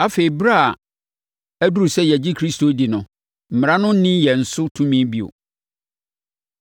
Afei a berɛ aduru sɛ yɛgye Kristo di no, Mmara no nni yɛn so tumi bio.